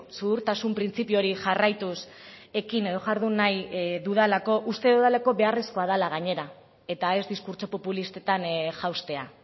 zuhurtasun printzipio hori jarraituz ekin edo jardun nahi dudalako uste dudalako beharrezkoa dela gainera eta ez diskurtso populistetan jaustea